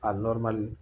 A